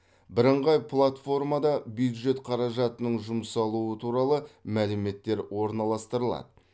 бірыңғай платформада бюджет қаражатының жұмсалуы туралы мәліметтер орналастырылады